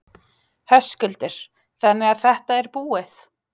Höskuldur: Þannig að þetta er búið?